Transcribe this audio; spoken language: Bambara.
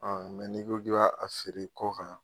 An n'i ko ki b' a feere kɔnkan.